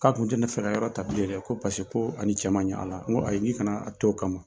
K'a kun tɛ fɛ ka yɔrɔ tabilen dɛ yɛrɛ ko paseke ko ani cɛ man ɲɔgɔn ko ayi k'i kana a to